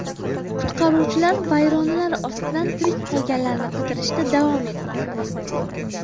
Qutqaruvchilar vayronalar ostidan tirik qolganlarni qidirishda davom etmoqda.